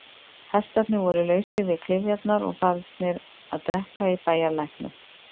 Hestarnir voru lausir við klyfjarnar og farnir að drekka í bæjarlæknum.